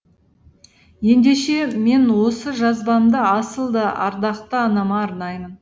ендеше мен осы жазбамды асыл да ардақты анама арнаймын